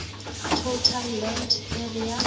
total land area